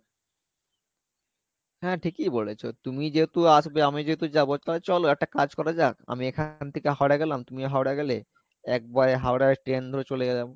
হ্যাঁ ঠিকই বলেছো তুমি যেহেতু আসবে আমি যেহেতু যাবো তালে চলো একটা কাজ করা যাক আমি এখান থেকে হাওড়া গেলাম তুমি হাওড়া গেলে এক বয়ে হাওড়া train ধরে চলে গেলাম